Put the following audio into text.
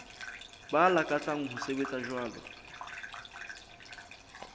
ba lakatsang ho sebetsa jwalo